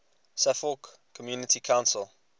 suffolk community council